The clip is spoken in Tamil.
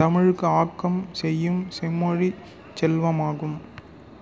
தமிழுக்கு ஆக்கம் செய்யும் செம்மொழிச் செல்வமாகும்